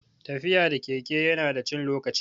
Tafiya da keke ya na da cin lokaci